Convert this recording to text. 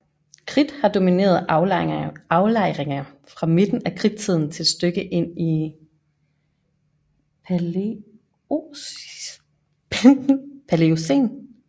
Kridt har domineret aflejringer fra midten af Kridttiden til et stykke ind i Paleocæn